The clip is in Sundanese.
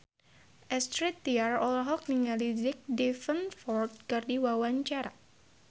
Astrid Tiar olohok ningali Jack Davenport keur diwawancara